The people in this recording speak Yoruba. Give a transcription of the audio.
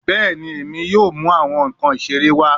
Bẹẹni, Emi yoo mu awọn nkan isere wa